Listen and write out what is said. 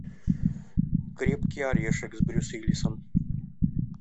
крепкий орешек с брюсом уиллисом